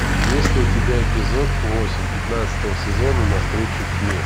есть ли у тебя эпизод восемь пятнадцатого сезона на встречу тьме